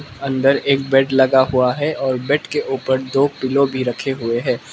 अंदर एक बेड लगा हुआ है और बेड के ऊपर दो पिलो भी रखे हुए हैं।